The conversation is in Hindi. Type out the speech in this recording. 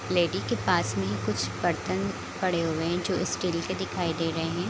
लेडिस के पास में कुछ बर्तन पड़े हुए हैं जो स्टील के दिखाई दे रहे हैं।